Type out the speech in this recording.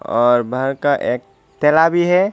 और भर का एक भी है।